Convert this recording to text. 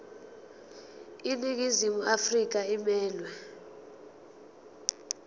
iningizimu afrika emelwe